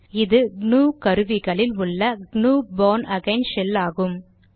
இது க்னூ கருவிகளில் உள்ள க்னூ பார்ன் அகெய்ன் ஷெல் ஆகும்